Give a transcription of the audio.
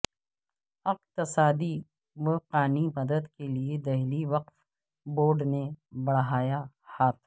اقتصادی و قانی مدد کے لئے دہلی وقف بورڈنے بڑھایا ہاتھ